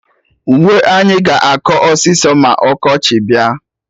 Uwe anyị ga-akọ ọsịsọ ma ọkọchị bịa